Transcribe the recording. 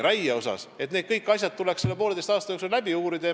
Kõik need asjad tuleks selle poolteise aasta jooksul läbi uurida.